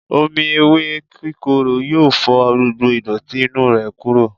Omí ewe kíkoró yọọ fò gbógbó idoti inu rẹ kuro.